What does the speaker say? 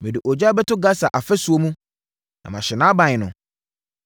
Mede ogya bɛto Gasa afasuo mu, na ahye nʼaban no.